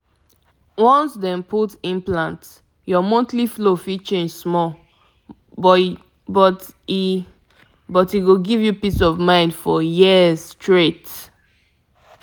to get coil no get wahala e wahala e dey easy to manage so yu fit hold ur belle control steady.